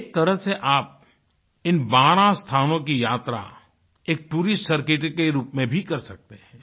एक तरह से आप इन बारह स्थानों की यात्रा एक टूरिस्ट सर्किट के रूप में भी कर सकते हैं